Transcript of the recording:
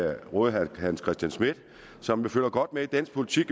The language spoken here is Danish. jeg råde herre hans christian schmidt som følger godt med i dansk politik